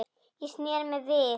Ég sneri mér við.